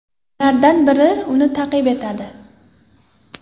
Ulardan biri uni ta’qib etadi.